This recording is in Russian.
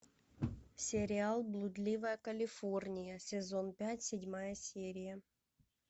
сериал блудливая калифорния сезон пять седьмая серия